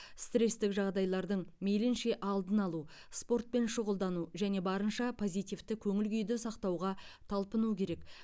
стрестік жағдайлардың мейлінше алдын алу спортпен шұғылдану және барынша позитивті көңіл күйді сақтауға талпыну керек